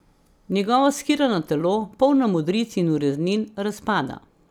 Njegovo shirano telo, polno modric in ureznin, razpada.